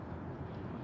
Bütün yollar.